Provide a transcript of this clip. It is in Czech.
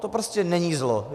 To prostě není zlo.